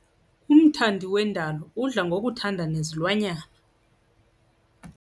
Umthandi wendalo udla ngokuthanda nezilwanyana.